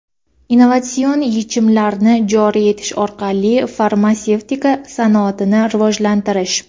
innovatsion yechimlarni joriy etish orqali farmatsevtika sanoatini rivojlantirish;.